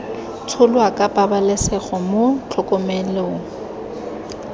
tsholwa ka pabalesego mo tlhokomelong